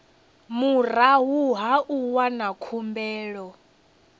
murahu ha u wana khumbelo